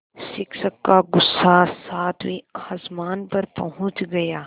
शिक्षक का गुस्सा सातवें आसमान पर पहुँच गया